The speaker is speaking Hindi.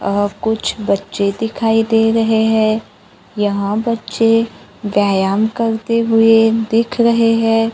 अह कुछ बच्चे दिखाई दे रहे हैं यहां बच्चे व्यायाम करते हुए दिख रहे हैं।